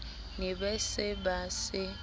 ne ba se ba se